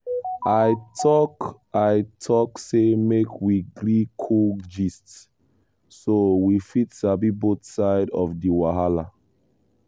i talk i talk say make we gree cool gist so we fit sabi both side of di wahala.